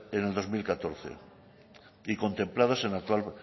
en el dos mil catorce y contemplados en el actual